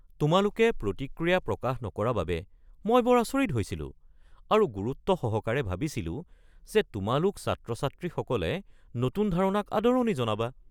তোমালোকে প্ৰতিক্ৰিয়া প্ৰকাশ নকৰা বাবে মই বৰ আচৰিত হৈছিলো আৰু গুৰুত্বসহকাৰে ভাবিছিলো যে তোমালোক ছাত্ৰ-ছাত্ৰীসকলে নতুন ধাৰণাক আদৰণি জনাবা।